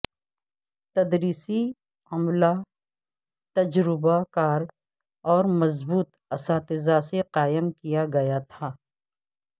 تدریسی عملہ تجربہ کار اور مضبوط اساتذہ سے قائم کیا گیا تھا